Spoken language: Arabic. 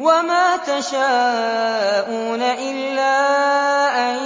وَمَا تَشَاءُونَ إِلَّا أَن